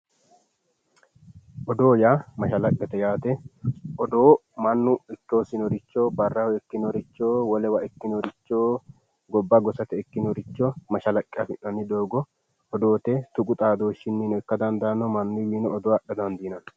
Odoo yaa mashalaqqete yaate, odoo mannu ikke hosinoricho barraho ikkinoricho wolewa ikkinoricho gobba gosate ikkinoricho mashalaqqe affi'nanni doogo odoote tuqu xaadoshshininno ikka dandaano mannuwinino odoo adha dandiinanni.